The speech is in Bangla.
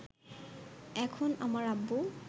এখন আমার আব্বু